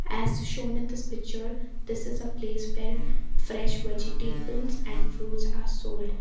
as shown in this picture this is a place where fresh vegetables and fruits are sold.